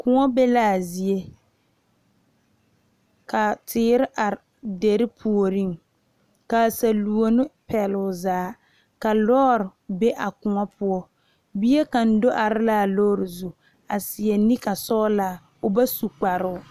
Kõɔ be a zie ka teere are dire puori kaa salɔne peɛle o zaa ka lɔre be a kõɔ poɔ bie kaŋa do are la a lɔre zu a seɛ naka sɔglaa o ba su kparo.